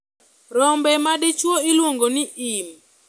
Rombo madichuo iluongo ni im.